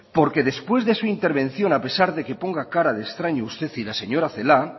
porque después de su intervención a pesar de que ponga cara de extraño usted y la señora celaá